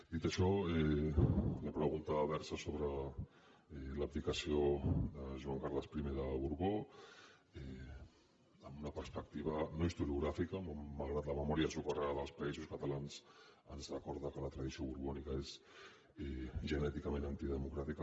dit això la pregunta versa sobre l’abdicació de joan carles i de borbó amb una perspectiva no historiogràfica malgrat que la memòria socarrada dels països catalans ens recorda que la tradició borbònica és genèticament antidemocràtica